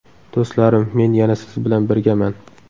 Do‘stlarim, men yana siz bilan birgaman!